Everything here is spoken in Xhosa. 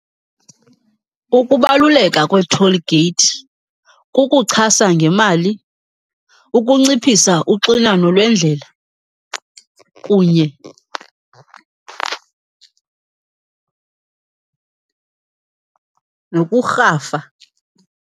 Ukubaluleka kwee-toll gate kukuchasa ngemali, ukunciphisa uxinano lwendlela kunye nokurhafa.